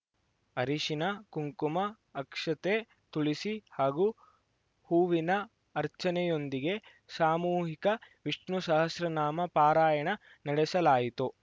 ಅರಿಶಿನ ಕುಂಕುಮ ಅಕ್ಷತೆ ತುಳಸಿ ಹಾಗೂ ಹೂವಿನ ಅರ್ಚನೆಯೊಂದಿಗೆ ಸಾಮೂಹಿಕ ವಿಷ್ಣುಸಹಸ್ರನಾಮ ಪಾರಾಯಣ ನಡೆಸಲಾಯಿತು